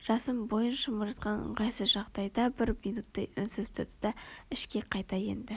жасын бойын шымырлатқан ыңғайсыз жағдайда бір минуттай үнсіз тұрды да ішке қайта енді